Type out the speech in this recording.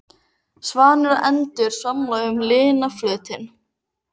Svanir og endur svamla um lygnan flötinn.